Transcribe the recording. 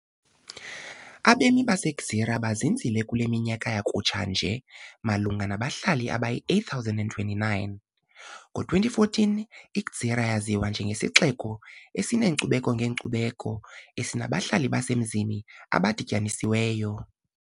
Abemi baseGżira bezinzile kule minyaka yakutsha nje, malunga nabahlali abayi-8,029 ngo-2014 I-Gżira yaziwa njengesixeko esineenkcubeko ngeenkcubeko, esinabahlali basemzini abadityanisiweyo.